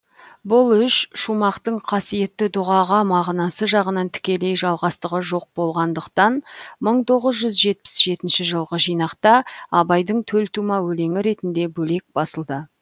бұл үш шумақтың қасиетті дүғаға мағынасы жағынан тікелей жалғастығы жоқ болғандықтан мың тоғыз жүз жетпіс жетінші жылғы жинақта абайдың төлтума өлеңі ретінде бөлек басылды